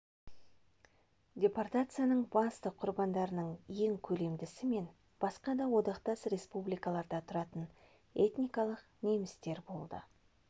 депортацияның басты құрбандарының ең көлемдісі мен басқа да одақтас республикаларда тұратын этникалық немістер болды